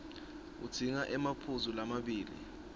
udzinga emaphuzu lamabili